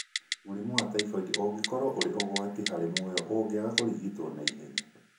Mũrimũ wa typhoid ũngĩkorũo ũrĩ ũgwati harĩ muoyo ũngĩaga kũrigitwo na ihenya